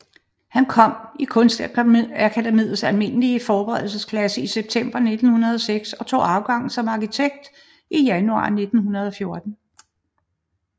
Han kom i Kunstakademiets almindelige forberedelsesklasse i september 1906 og tog afgang som arkitekt i januar 1914